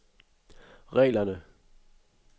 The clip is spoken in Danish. reglerne